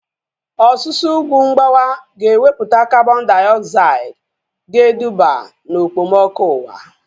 Ọsusu ugwu mgbawa ga ewepụta kabọn diogzaid ga eduba na okpomọkụ ụwa